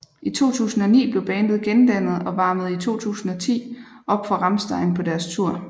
I 2009 blev bandet gendannet og varmede i 2010 op for Rammstein på deres tour